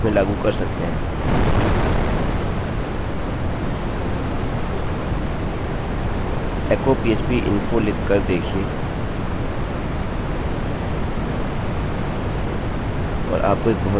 echo php info लिख कर देखिये और आपको एक बहुत ही अजीब उत्तर मिलता है